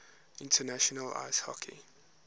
international ice hockey